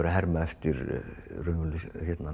að herma eftir raunverulegri